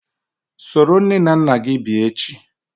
Soro nne na nna gi bia echi!